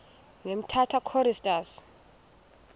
ne umtata choristers